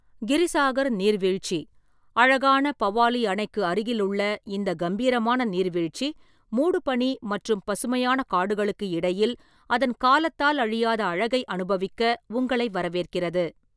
கிரிசாகர் நீர்வீழ்ச்சி: அழகான பவாலி அணைக்கு அருகிலுள்ள இந்த கம்பீரமான நீர்வீழ்ச்சி மூடுபனி மற்றும் பசுமையான காடுகளுக்கு இடையில் அதன் காலத்தால் அழியாத அழகை அனுபவிக்க உங்களை வரவேற்கிறது.